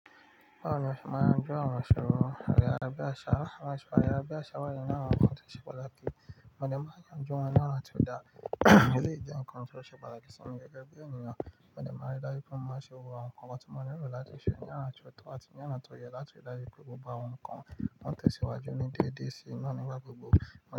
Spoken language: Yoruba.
Báwo ni a ṣe máa yanjú àwọn àṣòro ara bíi àṣà? Ara bíi àṣà wà ní àwọn nkan tó ṣe pàtàkì, mo ní máa yanjú wọn ní ọ̀la tí ó dára. Èyí lè jẹ́ nǹkan tó ṣe pàtàkì sí mi gegebi ènìyàn, mo de maa n rí daju pé mo má gbogbo awọn nǹkan ọmọ tó mọ́ ní ìró láti ṣe ní àrà ọ̀tọ̀ àti ní àrà tó yẹ láti dájú pé gbogbo àwọn nǹkan máa tẹ̀síwájú ní déédéé sí naa ni ìgbà gbogbo.